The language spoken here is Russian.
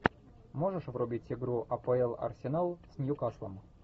можешь врубить игру апл арсенал с ньюкаслом